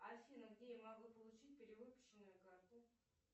афина где я могу получить перевыпущенную карту